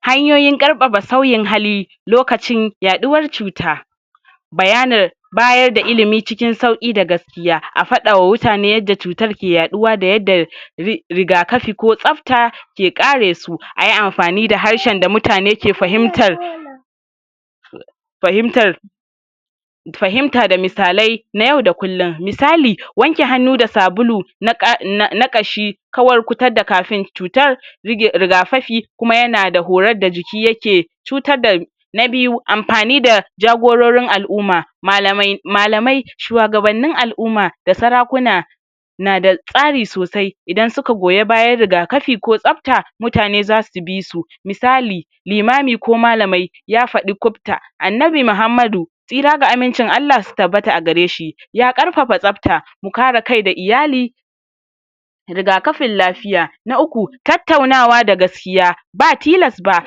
Hanyoyin ƙarfafa sauyin hali lokacin yaɗuwar cuta. Bayanin bayar da ilimi cikin sauƙi da gaskiya. A faɗawa wutane yadda cutar ke yaɗuwa da yadda ri rigakafi ko tsafta ke ƙare ayi amfani da harshen da mutane ke fahimtar fahimtar fahimta da misalai na yau da kullum. Misali wanke hannu da sabulu na ƙa na na ƙashi kawar kuta da kafin cutar rige rigakafi kuma ya na da horar da jiki ya ke cutar da. Na biyu amfani da jagororin al'umma malamai malamai shuwagabannin al'umma da sarakuna na da tsari sosai idan suka goyi bayan rigakafi ko tsafta mutane za su bi su. Misali limami ko malamai ya faɗi kubta Annabi Muhammadu tsira da amincin Allah su tabbata gare shi ya ƙarfafa tsafta, mu kare kai da iyali rigakafin lafiya. Na uku tattaunawa da gaskiya ba tilas ba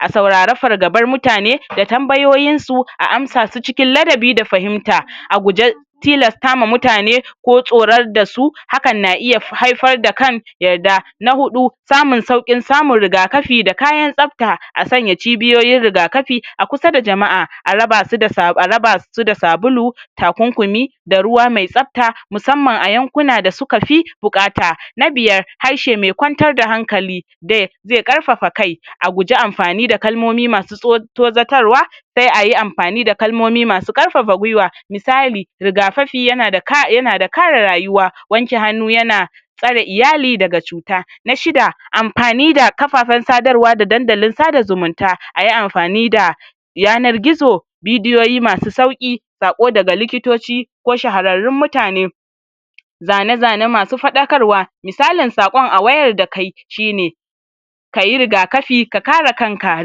a saurari fargabar mutane da tambayoyinsu a amsa su cikin ladabi da fahimta. A guje tilastama mutane ko tsorar da su, hakan na iya hai haifar da kan yarda. Na huɗu samun sauƙin samun rigakafi da kayan tsafta a sanya cibiyoyin rigakafi a kusa da jama'a a raba su da sa a raba su sabulu takunkumi da ruwa mai tsafta musamman a yankuna da suka fi buƙata. Na biyar harshe mai kwantar da hankali da zai ƙarfafa kai. A guji amfani da kalmomi masu tso tozatarwa sai ayi amfani da kalmomi masu ƙarfafa gwiwa. Misali rigakafi ya na da ka ya na da kare rayuwa, wanke hannu ya na tsare iyali daga cuta, Na shida amfani da kafefen sadarwa da dandalin sada zumunta. Ayi amfani da yanar-gizo, bidiyoyi masu sauƙi, saƙo daga likitoci ko shahararrun mutane, zane-zane masu faɗakarwa. Misalin saƙon a wayar da kai shi ne kayi rigakafi ka kare kanka.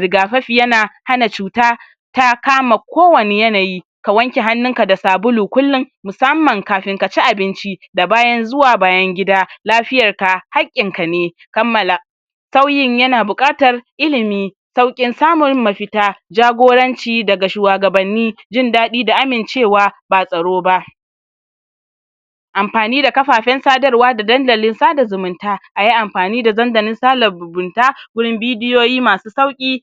Rigakafi ya na hana cuta ta kama kowane yanayi ka wanke hannunka da sabulu kullum musamman kafin ka ci abinci da bayan zuwa bayan gida, lafiyarka haƙƙinka ne. Kammala sauyin ya na buƙatar ilimi, sauƙin samun mafita, jagoranci daga shuwagabanni, jin daɗi da amincewa ba tsaro ba, amfani da kafafen sadarwa da dandalin sada zumunta Ayi amfani da dandalin sala zubunta wurin bidiyoyi masu sauƙi.